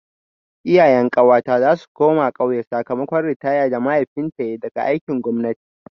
Iyayen ƙawata za su koma ƙauye sakamakon ritaya da mahaifinta yayi daga aikin gwamnati.